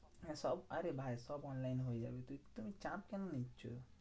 হ্যাঁ সব আরে ভাই সব online হয়ে যাবে। তুই তুমি চাপ কেন নিচ্ছো?